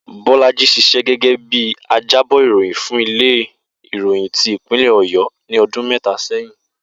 Bó̩lájì s̩is̩é̩ gé̩gé̩ bí ajábò̩ ìròyìn fún ilé ìròyìn ti ìpínlè̩ Ò̩yó̩ ní o̩dún mé̩ta sé̩yìn